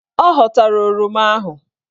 Ọ ghọtara oroma ahụ.